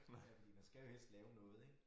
Ja fordi man skal jo helst lave noget ik